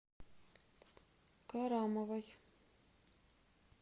карамовой